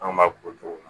An b'a k'u cogo la